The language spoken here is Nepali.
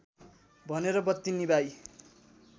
भनेर बत्ति निभाई